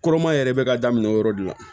Kɔrɔma yɛrɛ bɛ ka daminɛ o yɔrɔ de la